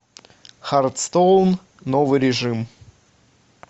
хардстоун новый режим